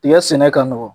Tiga sɛnɛ ka nɔgɔn